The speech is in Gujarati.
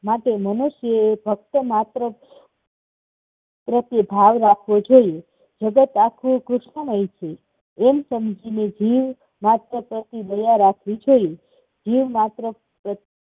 માટે મનુષ્યએ ભક્ત માત્ર ભાવ રાખવો જોઈએ. એમ સમજીને જીવ માત્ર પ્રત્યે દયા રાખવી જોઈએ. જીવ માત્ર